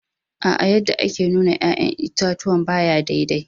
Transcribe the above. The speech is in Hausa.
Aa, yadda ake nuna yayan itatuwan ba ya daidai